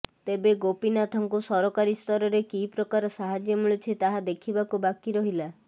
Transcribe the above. ତେବେ ଗୋପୀନାଥଙ୍କୁ ସରକାରୀ ସ୍ତରରେ କି ପ୍ରକାର ସାହାଯ୍ୟ ମିଳୁଛି ତାହା ଦେଖିବାକୁ ବାକି ରହିଲା